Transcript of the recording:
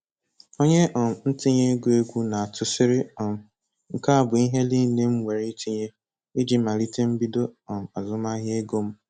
Onye um ntinye ego egwú na-atụ sịrị um "Nke a bụ ihe niile m nwere itinye iji malite mbido um azụmahịa ego m".